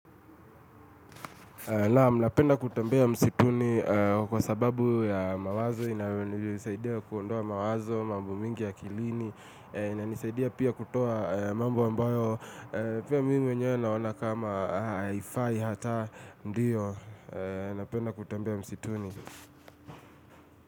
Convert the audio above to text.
Naam, mnapenda kutembea msituni kwa sababu ya mawazo, inayo nisaidia kuondoa mawazo, mambo mingi ya akilini, inanisaidia pia kutoa mambo ambayo, pia mimi mwenyewe naona kama haifai hata ndiyo, napenda kutembea msituni.